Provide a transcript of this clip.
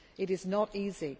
Jordan. It is